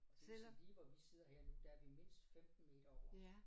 Og det vil sige lige hvor vi sidder lige nu der er vi mindst 15 meter over